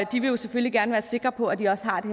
de vil jo selvfølgelig gerne være sikre på at de også har det